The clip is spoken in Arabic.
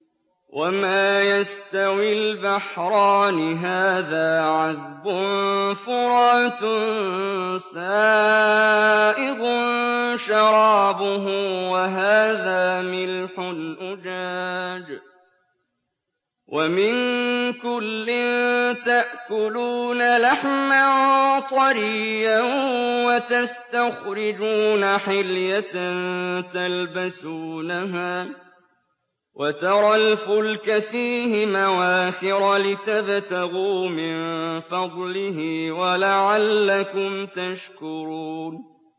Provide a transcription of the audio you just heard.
وَمَا يَسْتَوِي الْبَحْرَانِ هَٰذَا عَذْبٌ فُرَاتٌ سَائِغٌ شَرَابُهُ وَهَٰذَا مِلْحٌ أُجَاجٌ ۖ وَمِن كُلٍّ تَأْكُلُونَ لَحْمًا طَرِيًّا وَتَسْتَخْرِجُونَ حِلْيَةً تَلْبَسُونَهَا ۖ وَتَرَى الْفُلْكَ فِيهِ مَوَاخِرَ لِتَبْتَغُوا مِن فَضْلِهِ وَلَعَلَّكُمْ تَشْكُرُونَ